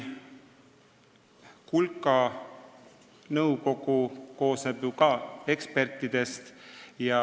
Kulka nõukogu koosneb ju ka ekspertidest.